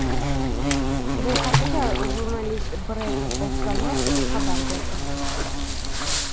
Bu haqda jurnalist Brett Okamoto xabar berdi .